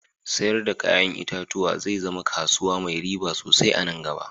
Sayar da ya'yan itatuwa zai zama kasuwa mai riba sosai anan gaba